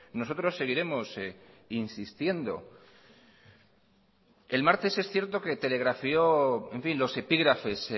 nosotros seguiremos insistiendo el martes es cierto que telegrafió los epígrafes